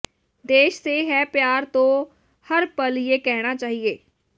ਦੇਸ਼ ਸੇ ਹੈ ਪਿਆਰ ਤੋਂ ਹਰ ਪਲ ਯੇ ਕਹਿਣਾ ਚਾਹੀਏ